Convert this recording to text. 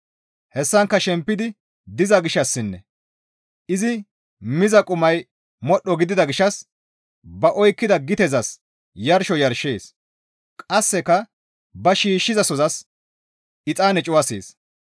Hessankka shempidi diza gishshassinne izi miza qumay modhdho gidida gishshas ba oykkida gitezas yarsho yarshees; qasseka ba shiishshizasozas exaane cuwasees.